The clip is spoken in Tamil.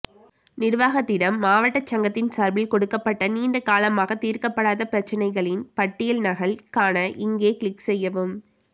நிர்வாகத்திடம் மாவட்ட சங்கத்தின் சார்பில் கொடுக்கப்பட்ட நீண்டகாலமாக தீர்க்கப்படாத பிரச்சனைகளின் பட்டியல் நகல் காண இங்கே கிளிக்செய்யவும்